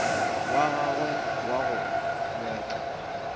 wa gagwe wa go betla